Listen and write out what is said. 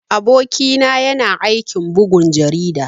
Aboki na yana aikin bugun jarida.